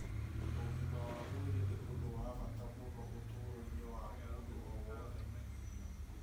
Ũgima wa mwĩrĩ nĩ ũndũ wa bata mũno ũtũũro-inĩ wa mũndũ o wothe